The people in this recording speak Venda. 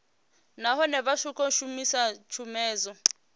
nahone vha songo shumisa tshomedzo